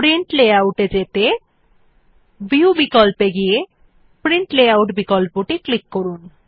print layout এ যেতে view বিকল্পে গিয়ে প্রিন্ট লেআউট বিকল্পে ক্লিক করুন